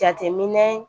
Jateminɛ